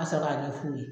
Ka sɔrɔ k'a ɲɛ f'u ye